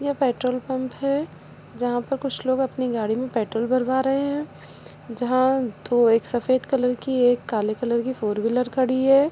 ये petrol pump है जहाँ पे कुछ लोग अपनी गाड़ी मे पेट्रोल भरवा रहे है जहाँ दो एक सफ़ेद कलर की एक काले कलर की फोरेव्हीलर खड़ी है।